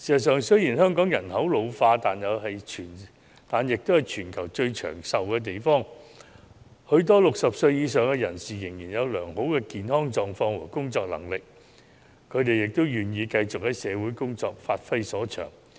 雖然香港人口老化，但香港也是全球最長壽的地方，很多60歲以上人士仍然有良好的健康狀況和工作能力，他們也願意繼續工作，發揮所長。